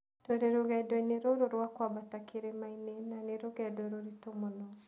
Tũrĩ rũgendo-inĩ rũrũ rwa kũambata kĩrĩma-inĩ, na nĩ rũgendo rũritũ mũno.